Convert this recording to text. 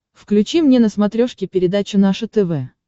включи мне на смотрешке передачу наше тв